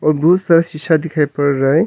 और बहुत सारा शीशा दिखाई पड़ रहा है।